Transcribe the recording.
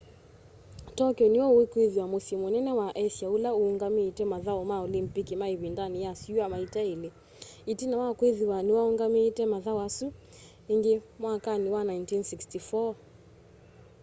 tokyo nĩw'o ũkwĩthĩwa mũsyĩ mũnene wa asia ũla ũũngamĩĩte mathaũ ma olympic ma ĩvindanĩ ya syũa maita elĩ ĩtina wa kwĩthĩwa nĩwaũngamĩĩte mathaũ asu ĩngĩ mwakanĩ wa 1964